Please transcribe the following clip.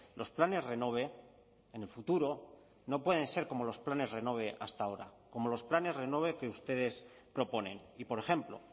los planes renove en el futuro no pueden ser como los planes renove hasta ahora como los planes renove que ustedes proponen y por ejemplo